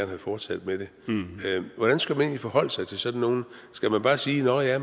have fortsat med det hvordan skal man egentlig forholde sig til sådan nogle skal man bare sige nåh ja